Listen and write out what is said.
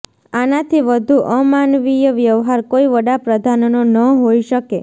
આનાથી વધુ અમાનવીય વ્યવહાર કોઈ વડાપ્રધાનનો ન હોઈ શકે